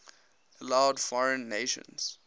allowed foreign nations